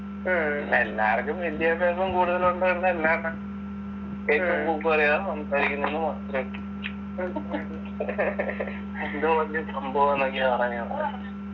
എല്ലാവർക്കും വിദ്യാഭ്യാസം കൂടുതലുണ്ട് എന്ന് അല്ലാണ്ട് പോലെയാ സംസാരിക്കുന്നുന്ന് മാത്രേ ഉള്ളൂ എന്തോ വലിയ സംഭവാന്നൊക്കെയാ പറഞ്ഞു നടക്കുന്ന്